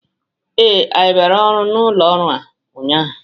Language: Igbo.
Ee, anyị bịara ọrụ n'ụlọ ọrụ a ụnyaahụ.